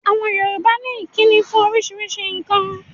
Àwọn Yorùbá ní ìkíni fún oríṣiríṣi nǹkan.